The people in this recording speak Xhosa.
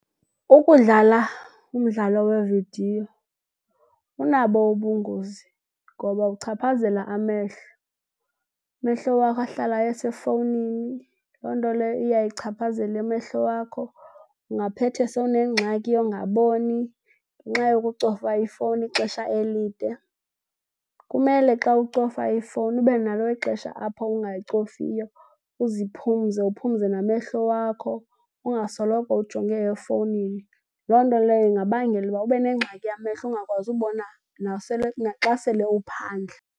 Ukudlala umdlalo wevidiyo unabo ubungozi ngoba uchaphazela amehlo. Amehlo wakho ahlala esefowunini. Loo nto leyo iyayichaphazela amehlo wakho ungaphethe sowunengxaki yokungaboni ngenxa yokucofa ifowuni ixesha elide. Kumele xa ucofa ifowuni ube nalo ixesha apho ungayicofiyo, uziphumze uphumze namehlo wakho, ungasoloko ujonge efowunini. Loo nto leyo ingabangela ukuba ube nengxaki yamehlo ungakwazi ukubona naxa sele uphandle.